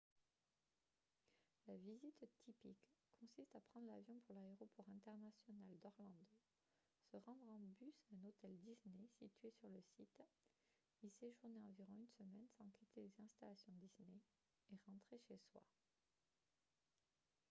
la visite « typique » consiste à prendre l’avion pour l’aéroport international d’orlando se rendre en bus à un hôtel disney situé sur le site y séjourner environ une semaine sans quitter les installations disney et rentrer chez soi